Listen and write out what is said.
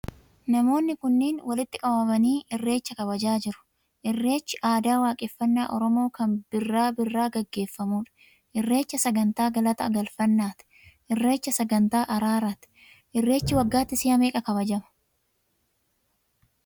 Namoonni kunniin walitti qabamanii irreecha kabajachaa jiru. Irreechi aadaa waaqeffannaa Oromoo kan birraa birraa geggeeffamuu dha. Irreecha sagantaa galata galfannaa ti; Irreecha sagantaa araaraa ti. Irreechi waggaatti si'a meeqa kabajama?